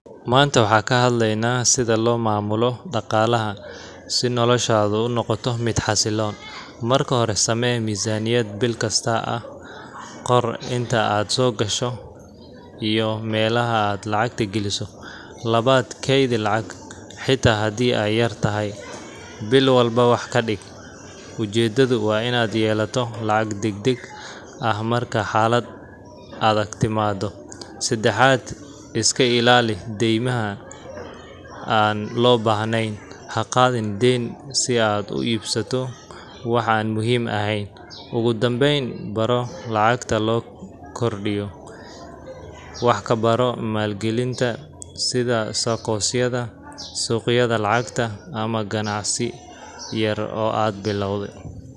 Maanta waxaan ka hadlaynaa sida loo maamulo dhaqaalaha si noloshaadu u noqoto mid xasilloon. Marka hore, samee miisaaniyad bil kasta ah. Qor inta aad soo gasho iyo meelaha aad lacagta geliso. Labaad, kaydi lacag. Xitaa haddii ay yartahay, bil walba wax dhig. Ujeedadu waa inaad yeelato lacag degdeg ah marka xaalad adag timaado. Saddexaad, iska ilaali deymaha aan loo baahnayn. Ha qaadan deyn si aad u iibsato wax aan muhiim ahayn. Ugu dambeyn, baro sida lacagta loo kordhiyo. Wax ka baro maalgelinta, sida saccosyada, suuqyada lacagta, ama ganacsi yar oo aad bilowday.